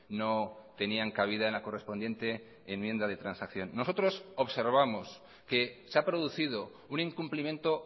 no tenían cabida en la correspondiente enmienda de transacción nosotros observamos que se ha producido un incumplimiento